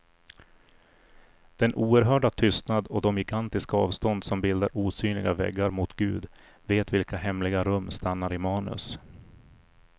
Den oerhörda tystnad och de gigantiska avstånd som bildar osynliga väggar mot gud vet vilka hemliga rum stannar i manus.